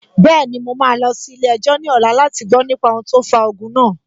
Bẹ́ẹ̀ni, mo máa lọ sí ilé-ẹjọ́ ní ọ̀la láti gbọ nípa ohun tó fa ogun náà